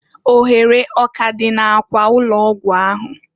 Ohere ọ k'adị na- akwa ụlọ ọgwụ ahụ?